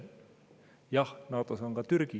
Jah, NATO-s on ka Türgi.